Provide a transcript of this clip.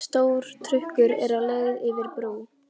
Stór trukkur er á leið yfir brú.